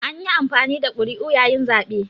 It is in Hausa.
An yi amfani da ƙuri'u yayin zaɓe